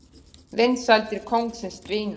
Vinsældir kóngsins dvína